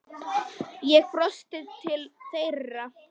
Ég brosti til þeirra.